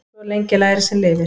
Svo lengi lærir sem lifir.